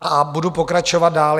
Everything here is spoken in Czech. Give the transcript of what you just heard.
A budu pokračovat dál.